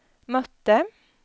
mötte